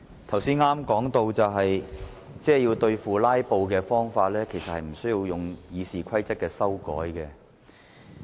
主席，我剛才談到對付"拉布"的方法，其實不需要修訂《議事規則》。